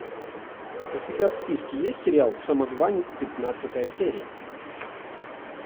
у тебя в списке есть сериал самозванец пятнадцатая серия